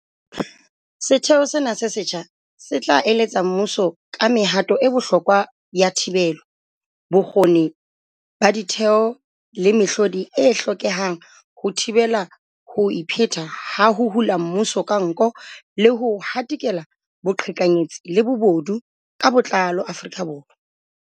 Setheo sena se setjha se tla eletsa mmuso ka mehato e bohlokwa ya thibelo, bokgoni ba ditheo le mehlodi e hlokehang ho thibela ho ipheta ha ho hula mmuso ka nko le ho hatikela boqhekanyetsi le bobodu ka botlalo Afrika Borwa.